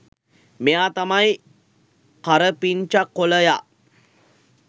මෙයා තමයි කරපිංචා කොළයා